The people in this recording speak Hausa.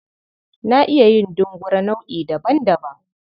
Na iya yin dungure nau'i daban-daban.